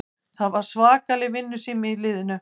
Það var svakaleg vinnusemi í liðinu